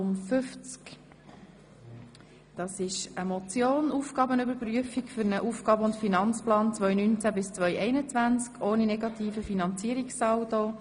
Es handelt sich um eine Motion mit dem Titel «Aufgaben überprüfen für einen Aufgaben- und Finanzplan 2019–2021 ohne negativen Finanzierungssaldo».